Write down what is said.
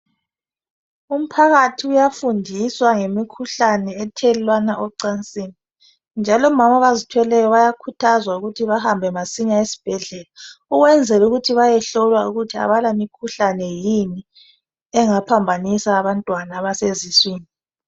Umphakathi uyafundiswa ngemikhuhlane othelelwana ecansini njalo omama abazithweleyo bayakhuthazwa ukuthi bahambe masinya esibhedlela ukwenzela ukuthi bayehlolwa ukuthi abalamikhuhlane yini engaphambanisa abantwana abaseziswini.